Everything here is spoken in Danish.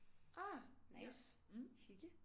Ah nice hygge